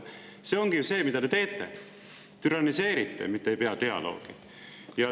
See ongi ju see, mida te teete: türanniseerite, mitte ei pea dialoogi.